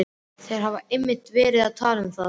Þeir hafa einmitt verið að tala um það.